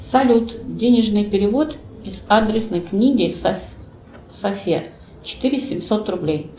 салют денежный перевод из адресной книги софе четыре семьсот рублей